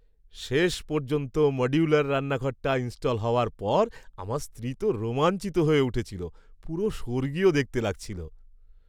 শেষ পর্যন্ত মডিউলার রান্নাঘরটা ইন্স্টল হওয়ার পর আমার স্ত্রী তো রোমাঞ্চিত হয়ে উঠেছিল। পুরো স্বর্গীয় দেখতে লাগছিল!